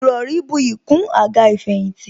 Ìrọrí buyì kún àga ìfẹ̀yìntì